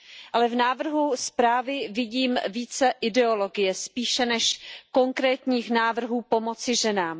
Ale v návrhu zprávy vidím více ideologie spíše než konkrétních návrhů pomoci ženám.